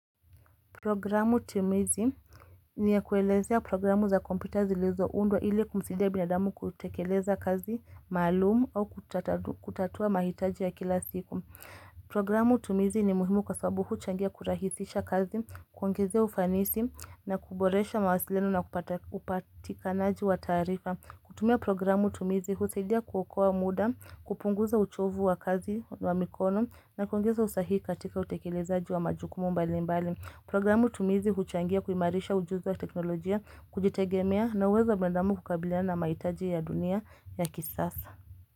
Programu tumizi ni ya kuelezea programu za kompita zilezo undwa ili kumsidia binadamu kutekeleza kazi, maalumu au kutatua mahitaji ya kila siku. Programu tumizi ni muhimu kwa sababu huchangia kurahisisha kazi, kuongezea ufanisi na kuboresha mawasiliano na upatikanaji wa tarifa. Kutumia programu tumizi, husidia kuokoa muda, kupunguza uchovu wa kazi wa mikono na kuongeza usahihi katika utekelezaji wa majukumu mbali mbali. Programu tumizi huchangia kuimarisha ujuzi wa teknolojia kujitegemea na uwezo binadamu kukabiliana mahitaji ya dunia ya kisasa.